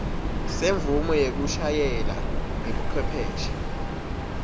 semvumo yekushayela ngebucwepheshe